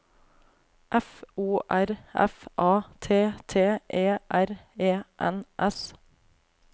F O R F A T T E R E N S